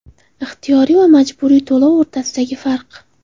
Ixtiyoriy va majburiy to‘lov o‘rtasidagi farq.